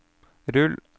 rull